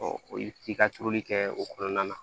o ye i ka turuli kɛ o kɔnɔna na